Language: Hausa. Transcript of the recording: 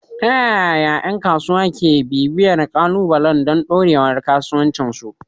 Ta yaya ƴan kasuwa ke bibiyar ƙalubalan don ɗorewar kasuwancinsu?